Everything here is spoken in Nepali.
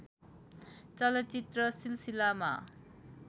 चलचित्र सिलसिलामा